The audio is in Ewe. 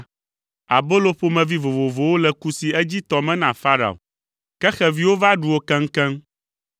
abolo ƒomevi vovovowo le kusi edzitɔ me na Farao, ke xeviwo va ɖu wo keŋkeŋ.”